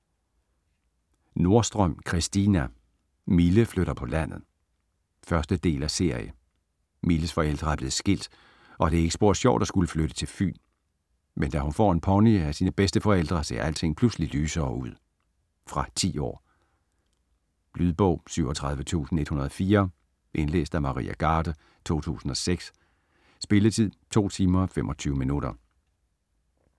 Nordstrøm, Christina: Mille flytter på landet 1. del af serie. Milles forældre er blevet skilt, og det er ikke spor sjovt at skulle flytte til Fyn, men da hun får en pony af sine bedsteforældre, ser alting pludselig lysere ud. Fra 10 år. Lydbog 37104 Indlæst af Maria Garde, 2006. Spilletid: 2 timer, 25 minutter.